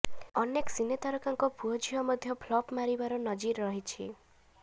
ଅନେକ ସିନେ ତାରକାଙ୍କ ପୁଅ ଝିଅ ମଧ୍ୟ ଫ୍ଲପ ମାରିବାର ନଜିର ରହିଛି